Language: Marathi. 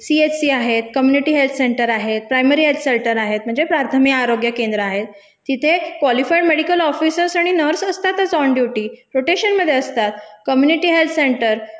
सीएचसी आहेत, कम्युनिटी हेल्थ सेंटर आहेत, प्रायमरी हेल्थ सेंटर आहेत म्हणजे प्रार्थमि आरोग्य केंद्र आहेत तिथे कवॉलिफाईड मेडीकल ऑफिसर्स आणि नर्स असतातच ऑन ड्युटी, रोटेशनमधे असतात, कम्युनिटी हेल्थ सेंटर